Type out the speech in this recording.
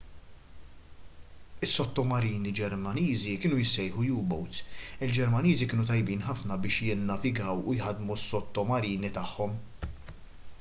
is-sottomarini ġermaniżi kienu jissejħu u-boats il-ġermaniżi kienu tajbin ħafna biex jinnavigaw u jħaddmu s-sottomarini tagħhom